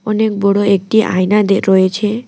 অনেক বড়ো একটি আয়না দে রয়েছে।